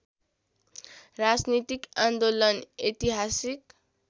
राजनीतिक आन्दोलन ऐतिहासिक